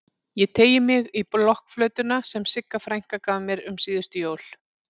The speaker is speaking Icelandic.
Ég teygi mig í blokkflautuna sem Sigga frænka gaf mér um síðustu jól.